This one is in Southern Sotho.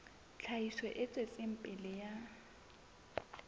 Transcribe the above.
tlhahiso e tswetseng pele ya